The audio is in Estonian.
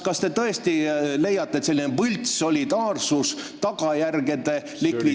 Kas te tõesti leiate, et selline võltssolidaarsus, tagajärgede likvideerimine ...